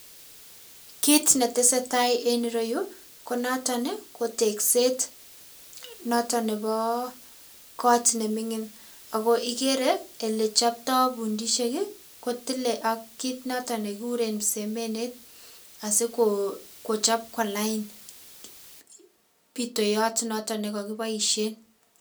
kiit ne tesetai eng yuroyu, ko noton ko tekset noton nebo koot ne ming'in. Ako igere ole choptoi pundisiek ko tile ak kiit noton ne kikuren msemenet asiko kochop kuwa lain, pitoyot noto ne kakiboisie.